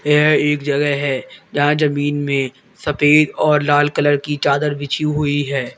यह एक जगह है जहां जमीन में सफेद और लाल कलर की चादर बिछी हुई है।